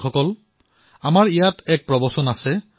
বন্ধুসকল আমাৰ ইয়াত কোৱা হয়